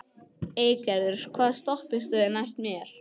Eygerður, hvaða stoppistöð er næst mér?